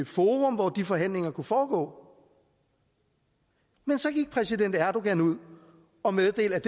forum hvor de forhandlinger kunne foregå men så gik præsident erdogan ud og meddelte at